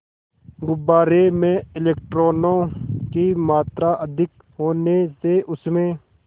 गुब्बारे में इलेक्ट्रॉनों की मात्रा अधिक होने से उसमें